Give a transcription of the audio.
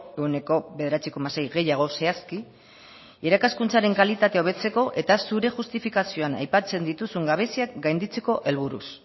ehuneko bederatzi koma sei gehiago zehazki irakaskuntzaren kalitatea hobetzeko eta zure justifikazioan aipatzen dituzun gabeziak gainditzeko helburuz